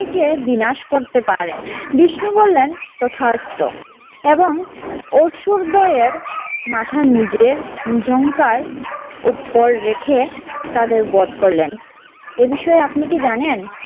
কে বিনাশ করতে পারেন। বিষ্ণু বললেন তথাস্তু এবং অসুরদ্বয়ের মাথা নিজের জঙ্কার উপর রেখে তাদের বধ করলেন। এ বিষয়ে আপনি কি জানেন?